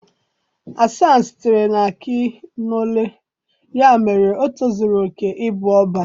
Hasan sitere na Akinole ya mere o tozuru oke ịbụ Ọbá